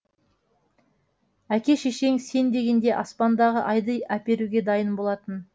әке шешең сен дегенде аспандағы айды әперуге дайын болатын